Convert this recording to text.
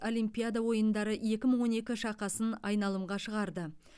олимпиада ойындары екі мың он екі шақасын айналымға шығарды